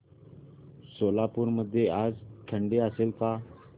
सोलापूर मध्ये आज थंडी असेल का